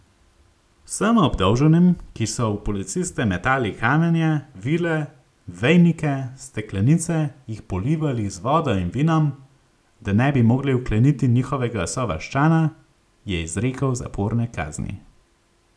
Vsem obdolženim, ki so v policiste metali kamenje, vile, vejnike, steklenice, jih polivali z vodo in vinom, da ne bi mogli vkleniti njihovega sovaščana, je izrekel zaporne kazni.